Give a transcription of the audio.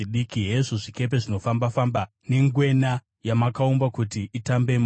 Hezvo zvikepe zvinofamba-famba, nengwena, yamakaumba kuti itambemo.